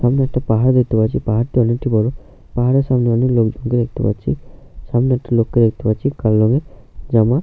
এখানে একটা পাহাড় দেখতে পাচ্ছিপাহাড়টি অনেকটা বড় পাহাড়ের সামনে অনেক লোকজন কে দেখতে পাচ্ছি সামনে একটি লোক কে দেখতে পাচ্ছি কালো রঙের জামা --